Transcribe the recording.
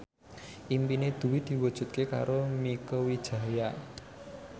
impine Dwi diwujudke karo Mieke Wijaya